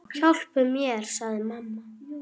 Hjálpi mér, sagði mamma.